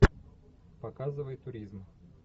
показывай туризм